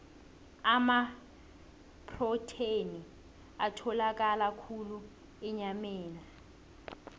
amaprotheni atholakala khulu enyameni